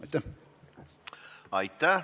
Aitäh!